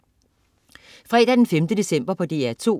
Fredag den 5. december - DR2: